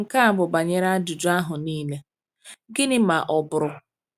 Nke a bụ banyere ajụjụ ahụ niile, Gịnị ma ọ bụrụ?